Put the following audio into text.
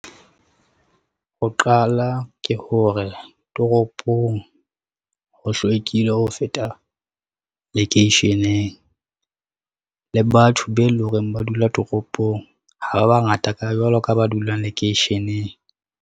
Ho qala ke hore toropong, ho hlwekile ho feta lekeisheneng. Le batho be e lo reng ba dula toropong, ha ba bangata jwalo ka ba dulang lekeisheneng.